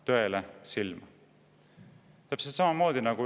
näite.